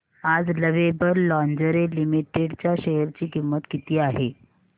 आज lovable lingerie limited च्या share ची किंमत किती आहे